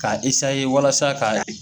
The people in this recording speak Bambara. K'a walasa k'a